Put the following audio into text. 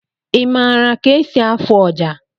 Ị mara ka-esi afụ ọjà?